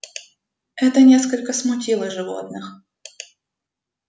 это несколько смутило животных